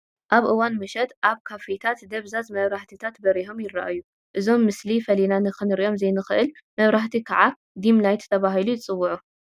ኣብ እዋን ምሸት ኣብ ካፌታት ደብዛዝ መብራህትታት በሪሆም ይርአዩ፡፡ እዞም ምስሊ ፈሊና ክንሪአሎም ዘይንኽእል መብራህቲ ከዓ ዲም ላይት ተባሂሎም ይፅውዑ፡፡